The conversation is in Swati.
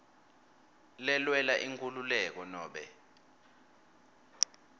lelwela inkhululeko nobe